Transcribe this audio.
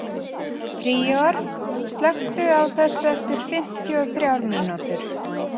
Príor, slökktu á þessu eftir fimmtíu og þrjár mínútur.